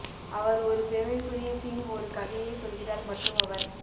அவர் ஒரு பெருமைக்குரிய கிங் ஒரு கதையை சொல்கிறார் மற்றும் அவர்